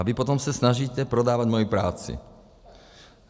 A vy potom se snažíte prodávat moji práci.